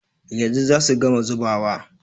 Yanzu za su gama zubawa.